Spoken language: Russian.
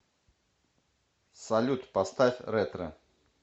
салют поставь ретро